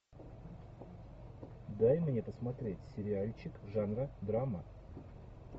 дай мне посмотреть сериальчик жанра драма